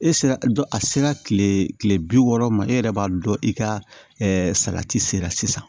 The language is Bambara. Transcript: E sera dɔ a sera kile bi wɔɔrɔ ma e yɛrɛ b'a dɔn i ka salati sera sisan